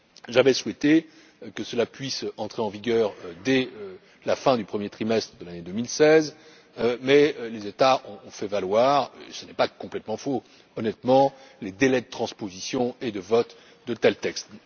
J'avais souhaité que le texte puisse entrer en vigueur dès la fin du premier trimestre de l'année 2016, mais les États ont fait valoir ce qui n'est pas tout à fait faux, honnêtement les délais de transposition et de vote de tels textes.